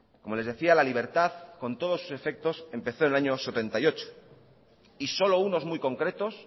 como les decía la libertad con todos sus defectos empezó en el año mil novecientos setenta y ocho y solo unos muy concretos